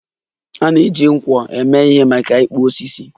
A na-eji nkwọ eme ihe maka ịkpụ osisi.